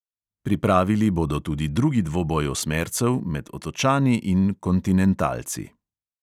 Pripravili bodo tudi drugi dvoboj osmercev med otočani in kontinentalci.